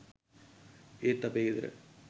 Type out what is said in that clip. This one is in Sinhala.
ඒත් අපේ ගෙදර